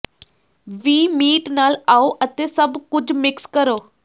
ਵੀ meat ਨਾਲ ਆਉ ਅਤੇ ਸਭ ਕੁਝ ਮਿਕਸ ਕਰੋ